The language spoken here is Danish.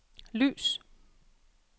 lys